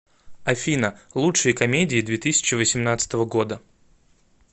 афина лучшие комедии две тысячи восемнадцатого года